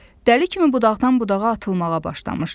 Dəli kimi budaqdan budağa atılmağa başlamışdı.